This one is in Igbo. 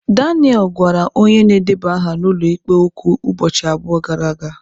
Daniel gwara onye na-edeba aha n'ụlọ ikpe okwu ụbọchị abụọ gara aga.